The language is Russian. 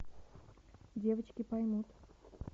девочки поймут